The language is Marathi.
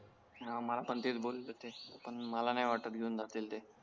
हां मला पण तेच बोलत होते मला नाय वाटत घेऊन जातील ते